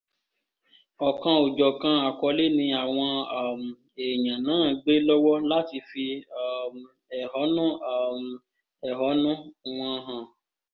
ọ̀kan-ò-jọ̀kan àkọlé ni àwọn um èèyàn náà gbé lọ́wọ́ láti fi um ẹ̀hónú um ẹ̀hónú wọn hàn